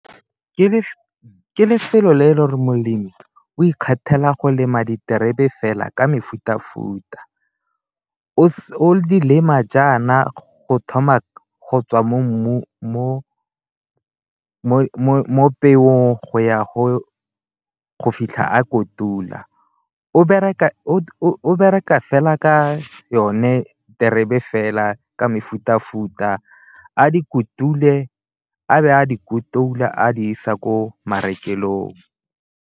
Ke lefelo le e leng gore molemi o ikgethela go lema diterebe fela ka mefuta-futa o o lema jaana go thoma go tswa mo peong go ya go fitlha a kotula. O bereka fela ka yone terebe fela ka mefuta-futa a dikotule a be a di kotula a di isa ko marekelong.